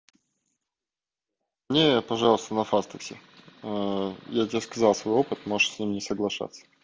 нет пожалуйста на фастексе я тебе сказал свой опыт можешь с ним не соглашаться